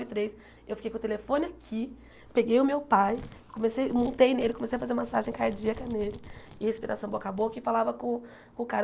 Três eu fiquei com o telefone aqui, peguei o meu pai, comece montei nele, comecei a fazer massagem cardíaca nele e respiração boca a boca e falava com o com o cara.